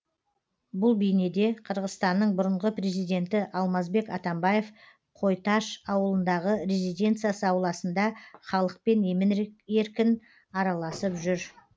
бұл бейнеде қырғызстанның бұрынғы президенті алмазбек атамбаев қойташ ауылындағы резиденциясы ауласында халықпен емін еркін араласып жүр